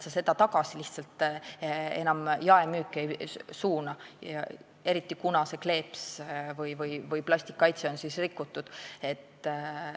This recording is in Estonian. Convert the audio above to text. Seda tagasi jaemüüki ei suunata, eriti kuna kleeps või plastkaitse on siis rikutud.